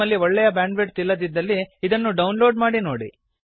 ನಿಮ್ಮಲ್ಲಿ ಒಳ್ಳೆಯ ಬ್ಯಾಂಡ್ವಿಡ್ತ್ ಇಲ್ಲದಿದ್ದಲ್ಲಿ ಇದನ್ನು ಡೌನ್ಲೋಡ್ ಮಾಡಿ ನೋಡಿ